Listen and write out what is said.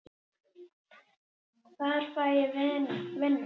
Hvar fæ ég vinnu?